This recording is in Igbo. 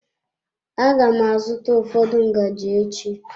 Aga m azụta ụfọdụ ngaji echi.